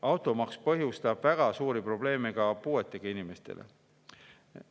Automaks põhjustab väga suuri probleeme ka puuetega inimestele.